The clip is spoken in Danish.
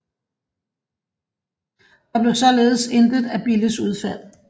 Der blev således intet af Billes udfald